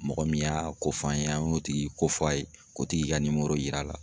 Mɔgɔ min y'a ko f'an ye an ye o tigi ko f'a ye k'o tigi ka yir'a la.